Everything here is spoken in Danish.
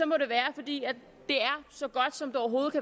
må det være fordi det er så godt som det overhovedet